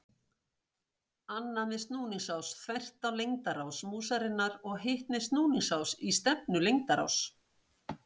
Annað með snúningsás þvert á lengdarás músarinnar og hitt með snúningsás í stefnu lengdaráss.